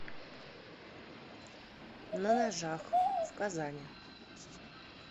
на ножах в казани